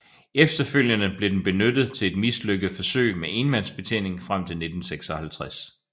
Efterfølgende blev den benyttet til et mislykket forsøg med enmandsbetjening frem til 1956